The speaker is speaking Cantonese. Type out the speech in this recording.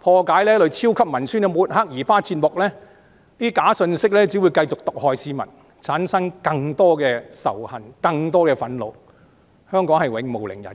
破解這類超級文宣的抹黑和移花接木，這些假信息只會繼續毒害市民，產生更多仇恨、更多憤怒，香港將永無寧日。